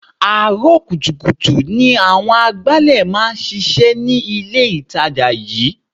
Àárọ̀ kùtùkùtù ni àwọn agbálẹ̀ máa ń ṣíṣe ní ilé itàjà yìí.